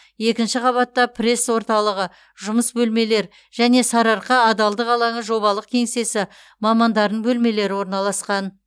екінші қабатта пресс орталығы жұмыс бөлмелер және сарыарқа адалдық алаңы жобалық кеңсесі мамандарының бөлмелері орналасқан